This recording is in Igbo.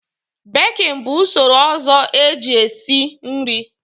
Bekin bụ usoro ọzọ e ji e si nri.